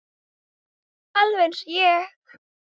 Alveg eins og ég!